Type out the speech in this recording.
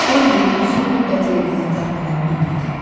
Bambi uzun müddət yerindən tərpənə bilmədi.